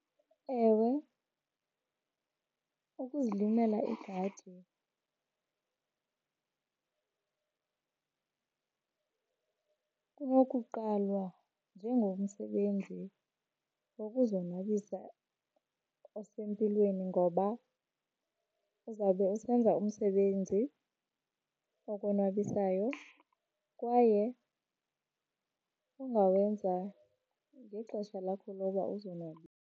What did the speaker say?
Ewe, ukuzilimela igadi kunokuqalwa njengomsebenzi wokuzonwabisa osempilweni ngoba uzawube usenza umsebenzi okonwabisayo kwaye ongawenza ngexesha lakho loba .